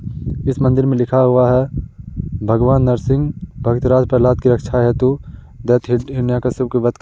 इस मंदिर में लिखा हुआ है भगवान नरसिंह भगतराज प्रह्लाद की रक्षा हेतु दैत्य हिरण्याकश्यप के वध --